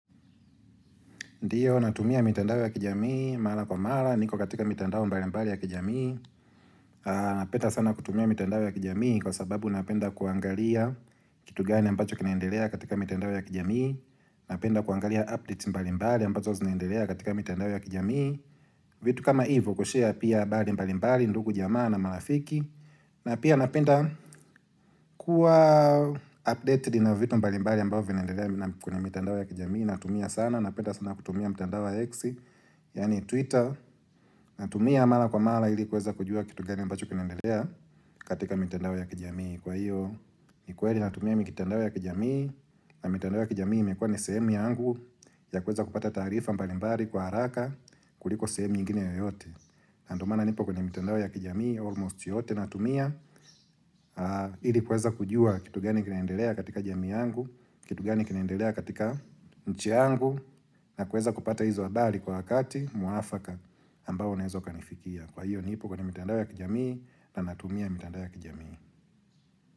Ndiyo, natumia mitandao ya kijamii, mara kwa mara, niko katika mitandao mbali mbali ya kijamii Napenda sana kutumia mitandao ya kijamii kwa sababu napenda kuangalia kitu gani ambacho kinaendelea katika mitandao ya kijamii Napenda kuangalia updates mbali mbali ambazo zinaendelea katika mitandao ya kijamii vitu kama hivo kushare pia habari mbali mbali, ndugu jamaa na marafiki na pia napenda kuwa updated na vitu mbali mbali ambavyoo vinaendelea kwenye mitandao ya kijamii. Natumia sana, napenda sana kutumia mtandao wa X Yani Twitter Natumia mara kwa mara ili kuweza kujua kitu gani ambacho kinaendelea katika mitandao ya kijamii. Kwa hiyo, ni kweli natumia mitandao ya kijamii na mitandao ya kijamii imekuwa ni sehemu yangu ya kuweza kupata tarifa mbalimbali kwa haraka kuliko sehemu nyilingine yoyote na ndii maana nipo kwenye mtandao ya kijamii Almost yote natumia ili kuweza kujua kitu gani kinaendelea katika jamii yangu Kitu gani kinaendelea katika nchi yangu na kuweza kupata hizo adhari kwa wakati mwafaka ambao unaeza ukanifikia. Kwa hiyo nipo kwenye mitandao ya kijamii na natumia mitandao ya kijamii.